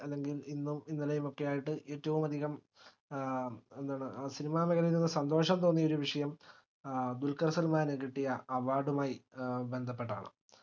അല്ലെങ്കിൽ ഇന്നും ഇന്നലെയും ഒക്കെയായിട്ട് ഏറ്റവും അധികം അഹ് എന്താണ് cinema മേഖലയിൽ സന്തോഷം തോന്നിയൊരുവിഷയം ഏർ ദുൽകർ സൽമാന് കിട്ടിയ award മായി ഏർ ബന്ധപ്പെട്ടതാണ്